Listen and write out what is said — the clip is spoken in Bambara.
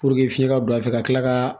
fiɲɛ ka don a fɛ ka tila ka